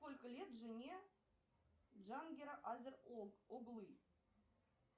сколько лет жене джангира азер оглы